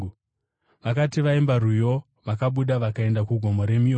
Vakati vaimba rwiyo, vakabuda vakaenda kuGomo reMiorivhi.